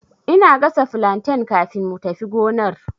Ina gasa flantain kafin mu tafi gonar